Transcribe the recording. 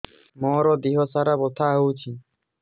ମୋ ଦିହସାରା ବଥା ହଉଚି